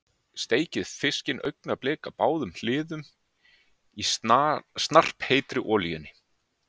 Steikið fiskinn augnablik á báðum hliðum í snarpheitri olíunni.